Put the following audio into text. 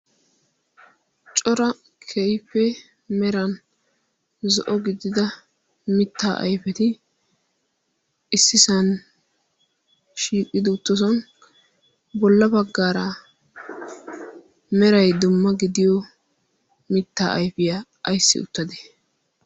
Cora keehippe meran zo'o gidida mittaa ayfeti issisan shiiqidi uttosan bolla baggaara meray dumma gidiyo mittaa ayfiyaa ayssi uttadee?